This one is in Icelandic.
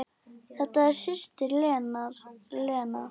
Þetta er systir hennar Lena.